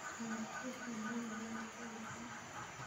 Kisamvu wuxuu leeyahay dhadhan xun.